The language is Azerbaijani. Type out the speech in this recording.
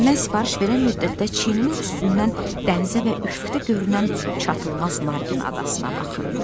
Və mən sifariş verən müddətdə çiynimin üstündən dənizə və üfüqdə görünən çatılmaz Narqin adasına baxırdı.